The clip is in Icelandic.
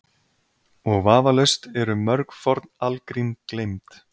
Og vafalaust eru mörg forn algrím gleymd.